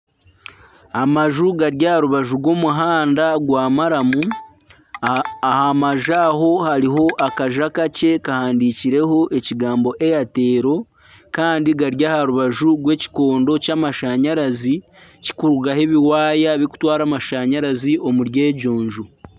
Amaju gari aha rubaju rw'omuhanda gwa maramu aha maju aha hariho akaju akakye kahandiikirweho ekigambo Airtel kandi gari aha rubaju rw'ekikondo ky'amashanyarazi kikurugaho ebiwaaya bikutwara amashanyarazi omuri egyo nju.